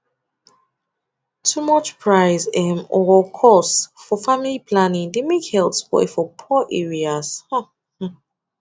too much price um or cost for family planning dey make health spoil for poor areas um mmm